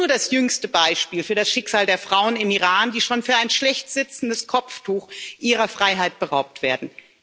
Sie ist nur das jüngste Beispiel für das Schicksal der Frauen im Iran, die schon für ein schlecht sitzendes Kopftuch ihrer Freiheit beraubt werden.